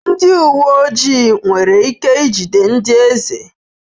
Ndị uwe ojii nwere ike ijide ndị eze?